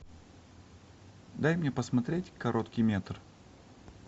дай мне посмотреть короткий метр